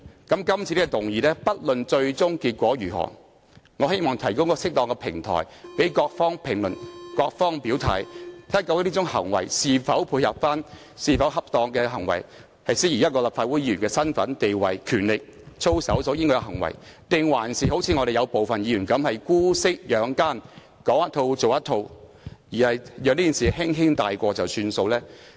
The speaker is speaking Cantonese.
今次這項議案，不論最終結果如何，我希望也能提供一個適當的平台讓各方評論和表態，看看這種行為是否恰當，以及是否符合立法會議員的身份、地位、權力和操守，還是如我們部分議員般姑息養奸，講一套、做一套，讓這件事輕輕帶過便算。